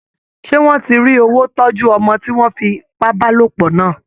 Ṣé wọ́n ti rí wó tọ́jú ọmọ tí wọ́n fi ipá bá lòpọ̀ lánàá?